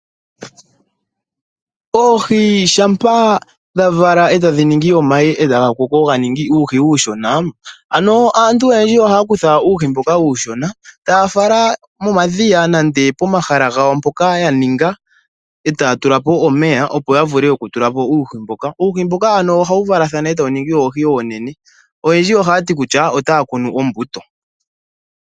Oohi shampa dha vala e tadhi ningi omayi e taga koko ga ningi uuhi uushona, ano aantu oyendji ohaya kutha uuhi mbuka uushona, taya fala momadhiya nande pomahala gwo mpoka ya ninga e taya tula po omeya, opo ya vule okutula po uuhi mboka. Uuhi mbuka ano ohawu valathana e tawu ningi oohi oonene. Oyendji ohaya ti kutya otaa kunu ombuto.